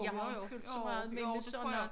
Jeg har jo ikke fulgt så meget med med sådan og